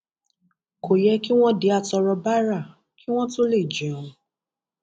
kò yẹ kí wọn di àtọrọ báárà kí wọn tóó lè jẹun